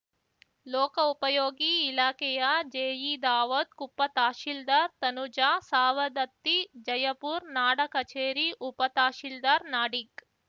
ಲೋಕೋಪಯೋಗಿ ಇಲಾಖೆಯ ಜೆಇ ದಾವೂದ್‌ ಕುಪ್ಪ ತಹಶೀಲ್ದಾರ್‌ ತನುಜಾ ಸಾವದತ್ತಿ ಜಯಪುರ್ ನಾಡಕಚೇರಿ ಉಪತಹಶೀಲ್ದಾರ್‌ ನಾಡಿಗ್‌